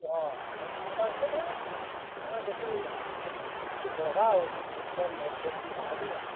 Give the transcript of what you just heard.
ହଁ, ତାକେ importance ଦେଲେ, ତାଙ୍କର ବେଶୀ, ଟିକେ ବଢବା ଆଉ sports man ଲୋକ୍ ବି ବାହାର୍ ବେ ଆଉ।